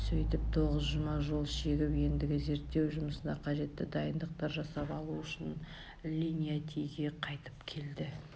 сөйтіп тоғыз жұма жол шегіп ендігі зерттеу жұмысына қажетті дайындықтар жасап алу үшін линьянтиге қайтып келді